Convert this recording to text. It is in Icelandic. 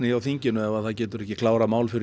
hjá þinginu ef þau geta ekki klárað málin fyrir